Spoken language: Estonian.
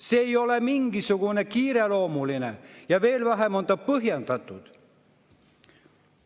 See ei ole mingisugune kiireloomuline ja veel vähem on ta põhjendatud.